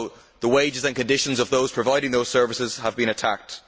The wages and conditions of those providing those services have also been attacked.